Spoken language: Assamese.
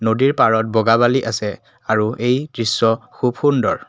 নদীৰ পাৰত বগা বালি আছে আৰু এই দৃশ্য খুব সুন্দৰ।